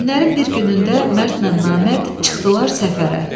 Günlərin bir günündə Mərdlə Namərd çıxdılar səfərə.